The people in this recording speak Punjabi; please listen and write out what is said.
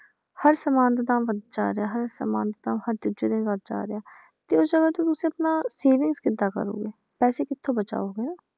ਹਰ ਸਮਾਨ ਤਾਂ ਵੱਧਦਾ ਜਾ ਰਿਹਾ ਹਰ ਸਮਾਨ ਤਾਂ ਹਰ ਦੂਜੇ ਦਿਨ ਵੱਧਦਾ ਜਾ ਰਿਹਾ ਤੇ ਉਸ ਜਗ੍ਹਾ ਤੇ ਤੁਸੀਂ ਆਪਣਾ savings ਕਿੱਦਾਂ ਕਰੋਗੇ, ਪੈਸੇ ਕਿੱਥੋਂ ਬਚਾਓਗੇ,